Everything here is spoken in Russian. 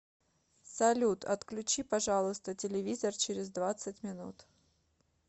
салют отключи пожалуйста телевизор через двадцать минут